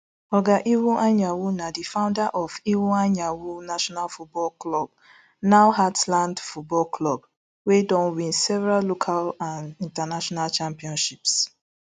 oga iwuanyanwu na di founder of iwuanyanwu nationale football club now heartland football club wey don win several local and international championships